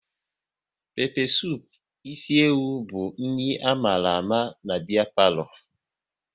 Pépé supu ịsi ewu bu nri amala ama n'biya palo